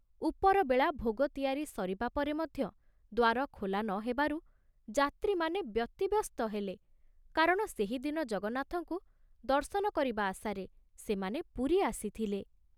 ଉପରବେଳା ଭୋଗ ତିଆରି ସରିବା ପରେ ମଧ୍ୟ ଦ୍ଵାର ଖୋଲା ନ ହେବାରୁ ଯାତ୍ରୀମାନେ ବ୍ୟତିବ୍ୟସ୍ତ ହେଲେ, କାରଣ ସେହି ଦିନ ଜଗନ୍ନାଥଙ୍କୁ ଦର୍ଶନ କରିବା ଆଶାରେ ସେମାନେ ପୁରୀ ଆସିଥିଲେ।